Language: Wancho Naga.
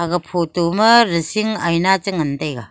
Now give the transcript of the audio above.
aga photo ma ressing aina chengan taiga.